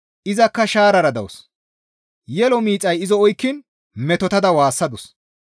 Izakka shaarara dawus; yelo miixay izo oykkiin metotada waassadus.